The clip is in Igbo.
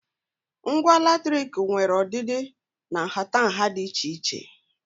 Ngwa latrik nwere ọdịdị na nhatanha dị iche iche.